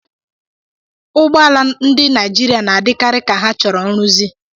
Ụgbọ ala ndị Naijiria na-adịkarị ka ha chọrọ nrụzi.